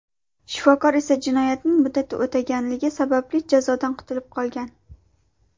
Shifokor esa jinoyatning muddati o‘tganligi sababli jazodan qutulib qolgan.